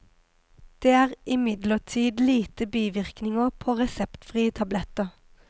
Det er imidlertid lite bivirkninger på reseptfrie tabletter.